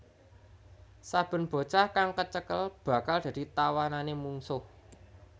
Saben bocah kang kecekel bakal dadi tawanané mungsuh